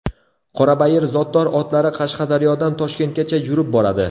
Qorabayir zotdor otlari Qashqadaryodan Toshkentgacha yurib boradi.